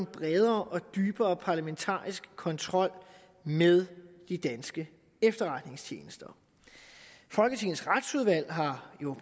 bredere og dybere parlamentarisk kontrol med de danske efterretningstjenester folketingets retsudvalg har jo